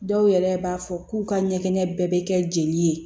Dɔw yɛrɛ b'a fɔ k'u ka ɲɛgɛn bɛɛ bɛ kɛ jeli ye